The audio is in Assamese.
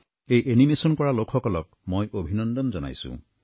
এই এনিমেচন কৰা লোকসকলক মই অভিনন্দন জনাইছোঁ